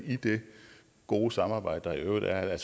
i det gode samarbejde der i øvrigt er